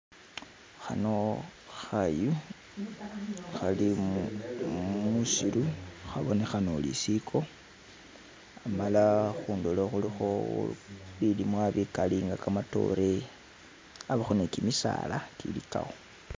Khano khayu khari musiru khabonekhana uri isiko amala khundulo khulikho bulimwa bikali nga kamatoore, abakho ne kimisala kili kakho.